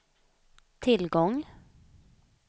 tillgång